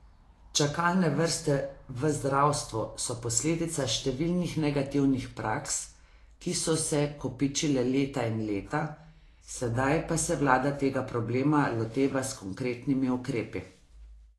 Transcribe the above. Čakalne vrste v zdravstvu so posledica številnih negativnih praks, ki so se kopičile leta in leta, sedaj pa se vlada tega problema loteva s konkretnimi ukrepi.